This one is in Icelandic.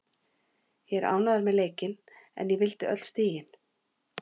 Ég er ánægður með leikinn en ég vildi öll stigin.